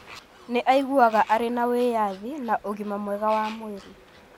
Nĩ aiguaga arĩ na wĩyathi na ũgima mwega wa mwĩrĩ.